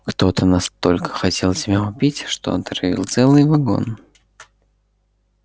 кто-то настолько хотел тебя убить что отравил целый вагон